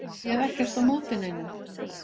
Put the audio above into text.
Ég hef ekkert á móti neinum